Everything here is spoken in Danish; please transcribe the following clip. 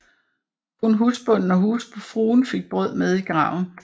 Kun husbonden og husfruen fik brød med i graven